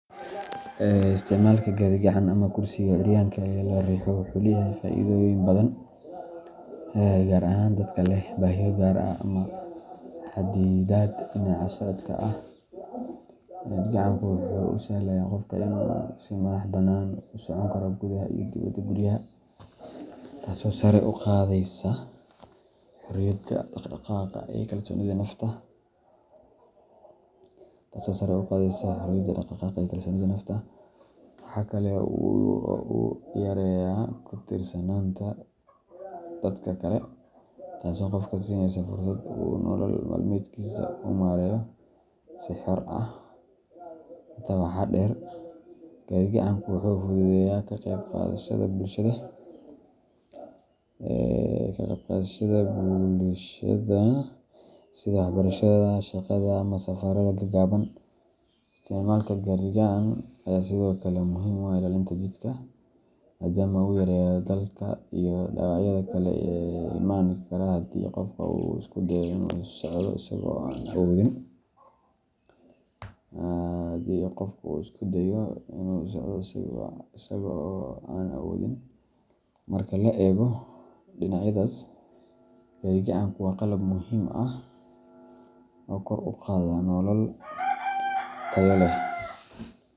Isticmaalka gaadhi-gacan ama kursiga curyaanka ee la riixo wuxuu leeyahay faa’iidooyin badan, gaar ahaan dadka leh baahiyo gaar ah ama xaddidaad dhinaca socodka ah. Gaadhi-gacanku wuxuu u sahlayaa qofka inuu si madaxbannaan ugu socon karo gudaha iyo dibadda guryaha, taasoo sare u qaadaysa xorriyadda dhaqdhaqaaq iyo kalsoonida nafta. Waxa kale oo uu yareeyaa ku tiirsanaanta dadka kale, taasoo qofka siinaysa fursad uu nolol maalmeedkiisa u maareeyo si xor ah. Intaa waxaa dheer, gaadhi-gacanku wuxuu fududeeyaa ka qayb qaadashada bulshada, sida waxbarashada, shaqada, ama safarada gaagaaban. Isticmaalka gaadhi-gacan ayaa sidoo kale muhiim u ah ilaalinta jidhka, maadaama uu yareeyo daalka iyo dhaawacyada kale ee iman kara haddii qofka uu isku dayo inuu socdo isagoo aan awoodin. Marka la eego dhinacyadaas, gaadhi-gacanku waa qalab muhiim ah oo kor u qaada nolol tayo leh.